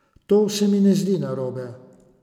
To se mi ne zdi narobe.